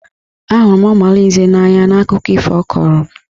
A hụrụ m Ọmalinze n'anya n'akụkọ ifo ọ kọrọ.